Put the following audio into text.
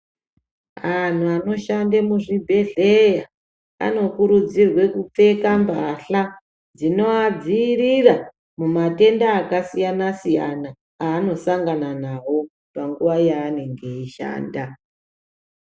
Angu anoshanda muzvibhedhleya anokurudzirwe kupfeka mbahla dzinovadziirira mumatenda akasiyana siyana aanosangana nawo panguva yaanenge eshanda